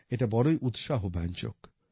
এটা বড়ই উৎসাহ ব্যঞ্জক